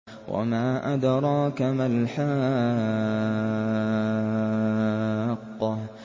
وَمَا أَدْرَاكَ مَا الْحَاقَّةُ